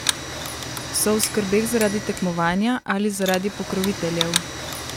So v skrbeh zaradi tekmovanja ali zaradi pokroviteljev?